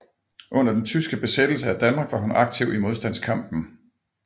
Under den tyske besættelse af Danmark var hun aktiv i modstandskampen